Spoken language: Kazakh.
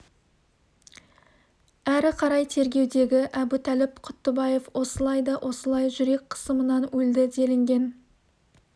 әрі қарай тергеудегі әбутәліп құттыбаев осылай да осылай жүрек қысымынан өлді делінген